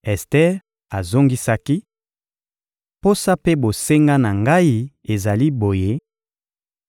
Ester azongisaki: — Posa mpe bosenga na ngai ezali boye: